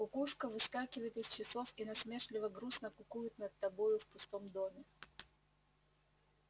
кукушка выскакивает из часов и насмешливо-грустно кукует над тобою в пустом доме